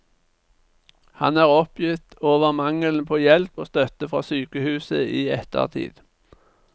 Han er oppgitt over mangelen på hjelp og støtte fra sykehuset i ettertid.